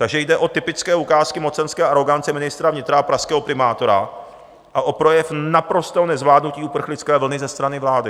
Takže jde o typické ukázky mocenské arogance ministra vnitra a pražského primátora a o projev naprostého nezvládnutí uprchlické vlny ze strany vlády.